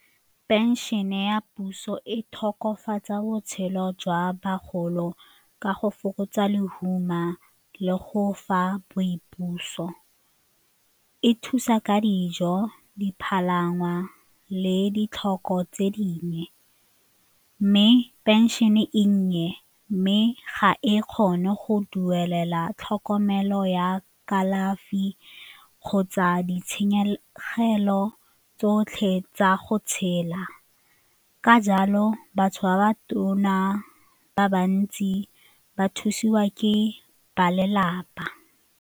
Pension-e ya puso e tokafatsa botshelo jwa bagolo ka go fokotsa lehuma le go fa boipuso, e thusa ka dijo, dipalangwa le ditlhoko tse dingwe mme pension-e e nnye mme ga e kgone go duelela tlhokomelo ya kalafi kgotsa ditshenyegelo tsotlhe tsa go tshela. Ka jalo, batho ba batona ba bantsi ba thusiwa ke ba lelapa.